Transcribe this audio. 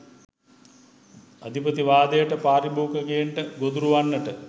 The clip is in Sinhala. අධිපතිවාදයට පාරිභෝගිකයන්ට ගොදුරු වන්නට